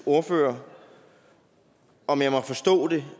ordfører om jeg må forstå det